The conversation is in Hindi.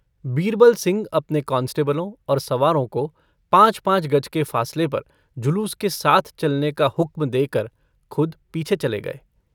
बीरबल सिंह अपने कांस्टेबलों और सवारों को पाँच-पाँच गज के फासले पर जुलूस के साथ चलने का हुक्म देकर खुद पीछे चले गये।